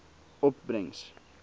opbrengs